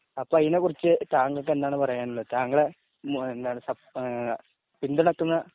അപ്പൊ അയിനെക്കുറിച്ചു താങ്കൾക്ക് എന്താണ് പറയാനുള്ളത് താങ്കളെ മു എന്താണ് സപ്പ് ആ പിന്തുണക്കുന്ന